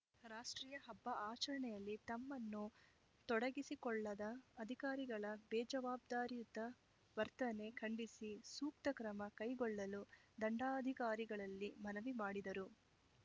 ರಾಷ್ಟ್ರೀಯ ಹಬ್ಬ ಆಚರಣೆಯಲ್ಲಿ ತಮ್ಮನ್ನು ತೊಡಗಿಸಿಕೊಳ್ಳದ ಅಧಿಕಾರಿಗಳ ಬೇಜವಾಬ್ದಾರಿಯುತ ವರ್ತನೆ ಖಂಡಿಸಿ ಸೂಕ್ತ ಕ್ರಮ ಕೈಗೊಳ್ಳಲು ದಂಡಾಧಿಕಾರಿಗಳಲ್ಲಿ ಮನವಿ ಮಾಡಿದರು